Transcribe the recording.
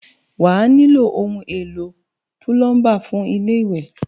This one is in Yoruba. Wà á nílò ohun-èlo púlọ́ḿbà fún ilé-ìwẹ̀.